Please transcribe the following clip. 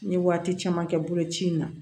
N ye waati caman kɛ boloci in na